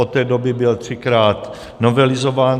Od té doby byl třikrát novelizován.